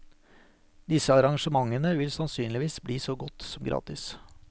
Disse arrangementene vil sannsynligvis bli så godt som gratis.